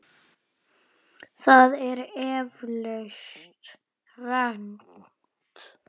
Það er eflaust rangt.